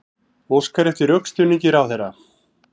Óskar eftir rökstuðningi ráðherra